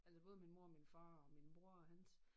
Altså både min mor og min far og min bror og hans